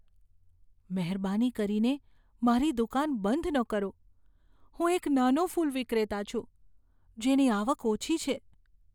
મહેરબાની કરીને મારી દુકાન બંધ ન કરો. હું એક નાનો ફૂલ વિક્રેતા છું, જેની આવક ઓછી છે.